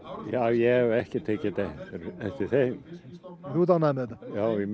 ég hef ekkert tekið eftir þeim þú ert ánægður með þetta já ég